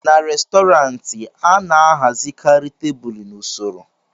n'Restọrantị, a na-ahazikarị tebụl n'usoro